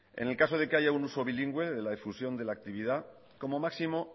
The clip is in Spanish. en el caso de que haya un uso bilingüe en la difusión de la actividad como máximo